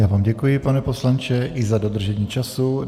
Já vám děkuji, pane poslanče, i za dodržení času.